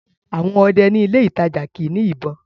àwọn ọdẹ ní ilé ìtajà kìí ní ìbọn